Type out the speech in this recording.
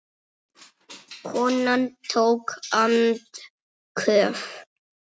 Konan tók andköf.